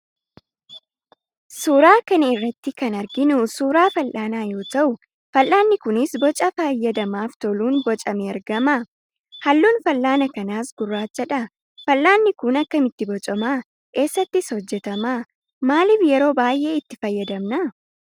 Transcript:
Suuraa kana irratti kan arginu suuraa fal'anaa yoo ta'u, fal'aanni kunis boca fayyadamaaf toluun bocamee argama. Halluun fal'aana kanaas gurraachadha. Fal'aanni kun akkamitti bocama? Eessattis hojjetama? Maallif yeroo baay'ee itti fayyadamna?